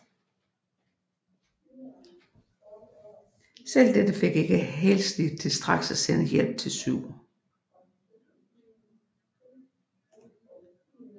Selv dette fik ikke Halsey til straks at sende hjælp til 7